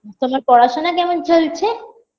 তোমার পড়াশোনা কেমন চলছে